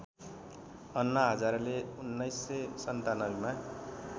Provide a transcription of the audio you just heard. अन्ना हजारेले १९९७ मा